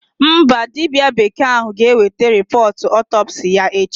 Mba, dibịa bekee ahụ ga-eweta rịpọọt ọtọpsii ya echi.